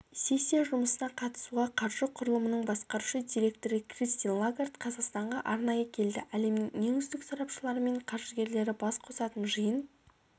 сессия жұмысына қатысуға қаржы құрылымының басқарушы директоры кристин лагард қазақстанға арнайы келді әлемнің ең үздік сарапшылары мен қаржыгерлері бас қосатын жиын